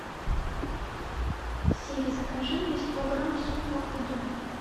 сири закажи мне сто грамм супа удон